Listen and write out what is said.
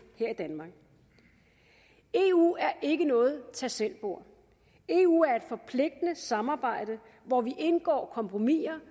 her i danmark eu er ikke noget tag selv bord eu er et forpligtende samarbejde hvor vi indgår kompromiser